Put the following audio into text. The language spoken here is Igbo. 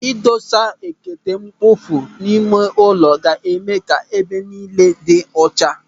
Ịdosa ekete mkpofu n'ime ụlọ ga-eme ka ebe niile dị ọcha.